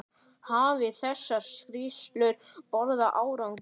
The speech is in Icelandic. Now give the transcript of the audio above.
Hafa þessar skýrslur borið árangur?